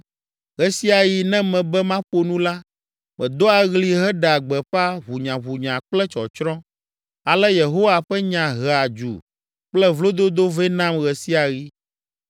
Ɣe sia ɣi ne mebe maƒo nu la, medoa ɣli heɖea gbeƒã ʋunyaʋunya kple tsɔtsrɔ̃, ale Yehowa ƒe nya hea dzu kple vlododo vɛ nam ɣe sia ɣi.